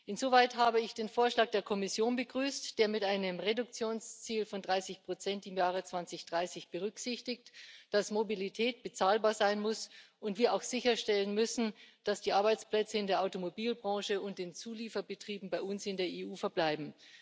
Insoweit habe ich den Vorschlag der Kommission begrüßt, der mit einem Reduktionsziel von 30 im Jahr 2030 berücksichtigt, dass Mobilität bezahlbar sein muss und wir auch sicherstellen müssen, dass die Arbeitsplätze in der Automobilbranche und den Zulieferbetrieben bei uns in der EU verbleiben.